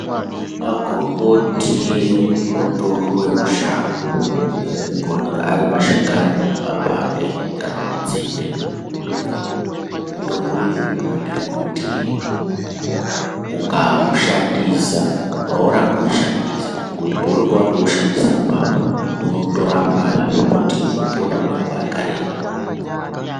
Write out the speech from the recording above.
Magomboti mutombo yemushango anonyanye kuoneka arimashakani pa bande kana mutsinde, mutombo iyi yakanakire kuti ukawushandisa haurambi weishandisa ngekuti paunenge watowushandisa apapo unotorapa zvekutoti unopona kwenguwa yakareba.